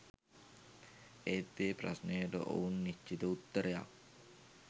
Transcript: ඒත් ඒ ප්‍රශ්නයට ඔවුන් නිශ්චිත උත්තරයක්